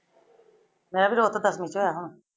ਮੈ ਵੀ ਤਾਂ ਉੱਥੇ ਤੱਕ ਪੋਚਇਆ ਹੋਆ ਹਾਂ।